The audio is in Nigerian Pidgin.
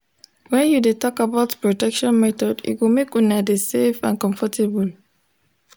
when you de talk about protection method e go make una de safe and comfortable